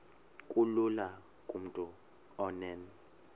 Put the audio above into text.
kulula kumntu onen